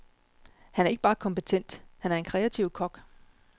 Han er ikke bare kompetent, han er en kreativ kok.